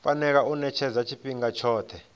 fanela u ṅetshedzwa tshifhinga tshoṱhe